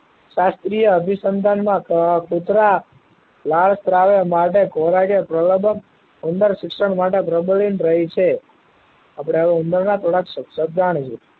શાસ્ત્રીય અભિસંધાન માં કુતરા લાળ સ્ત્રાવ માટે પ્રલાબન ઉંદર શિક્ષણ માટે પ્રબલીન રહી છે આપડે હવે ઉંદર નાં થોડા ક શકશો જાણીશું